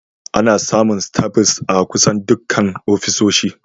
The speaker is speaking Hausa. Ana samun staples a kusan dukkan ofisoshi